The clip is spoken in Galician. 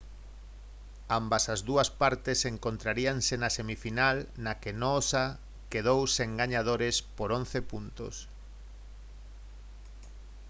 ambas as dúas partes encontraríanse na semifinal na que noosa quedou sen gañadores por 11 puntos